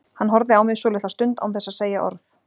Hann horfði á mig svolitla stund án þess að segja orð.